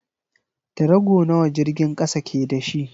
Tarago nawa jirgin kasan ke da shi?